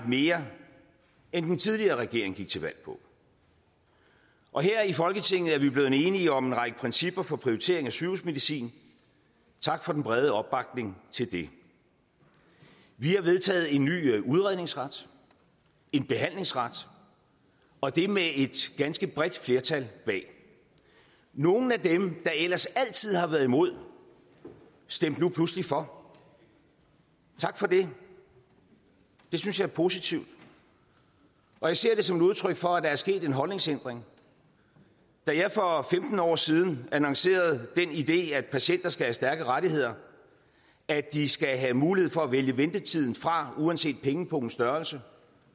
mere end den tidligere regering gik til valg på og her i folketinget er vi blevet enige om en række principper for prioritering af sygehusmedicin tak for den brede opbakning til det vi har vedtaget en ny udredningsret en behandlingsret og det med et ganske bredt flertal bag nogle af dem der ellers altid har været imod stemte nu pludselig for tak for det det synes jeg er positivt og jeg ser det som et udtryk for at der er sket en holdningsændring da jeg for femten år siden annoncerede den idé at patienter skal have stærke rettigheder at de skal have mulighed for at vælge ventetiden fra uanset pengepungens størrelse